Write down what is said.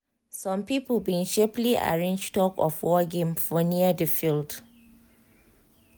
some people bin sharperly arrange tug of war game for near di field